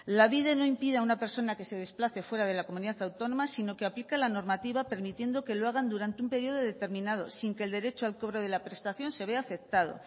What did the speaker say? lanbide no impide a una persona que se desplace fuera de la comunidad autónoma sino que aplica la normativa permitiendo que lo hagan durante un periodo determinado sin que el derecho al cobro de la prestación se vea afectado